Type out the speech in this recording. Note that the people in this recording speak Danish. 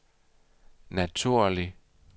naturlig